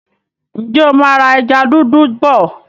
Ǹjẹ́ o máa ra ẹja dúdú bọ̀?